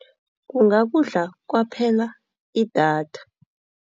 Kungakudla kwaphela idatha.